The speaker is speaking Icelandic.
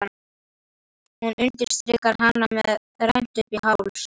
Hún undirstrikar hana með rennt uppí háls.